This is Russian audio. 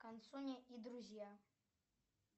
консуни и друзья